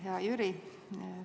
Hea Jüri!